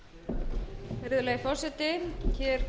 virðulegi forseti við tökum hér